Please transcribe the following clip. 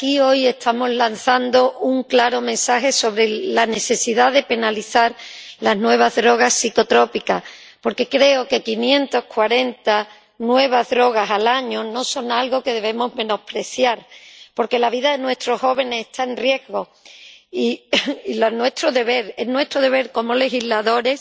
Señor presidente, desde aquí hoy estamos lanzando un claro mensaje sobre la necesidad de penalizar las nuevas drogas psicotrópicas porque creo que 540 nuevas drogas al año no son algo que debamos menospreciar, porque la vida de nuestros jóvenes está en riesgo y es nuestro deber como legisladores